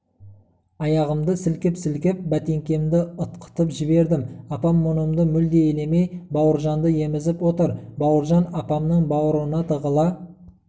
аяғымды сілкіп-сілкіп бәтеңкемді ытқытып жібердім апам мұнымды мүлде елемей бауыржанды емізіп отыр бауыржан апамның бауырына тығыла